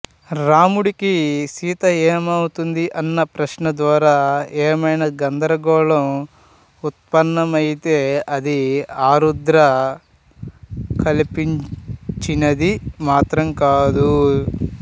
రాముడికి సీత ఏమవుతుంది అన్న ప్రశ్న ద్వారా ఏమైనా గందరగోళం ఉత్పన్నమయితే అది ఆరుద్ర కల్పించినది మాత్రం కాదు